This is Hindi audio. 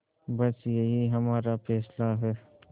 बस यही हमारा फैसला है